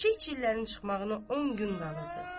Çiçəklərin çıxmağına on gün qalırdı.